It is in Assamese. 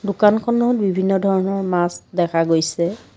দোকানখনত বিভিন্ন ধৰণৰ মাছ দেখা গৈছে।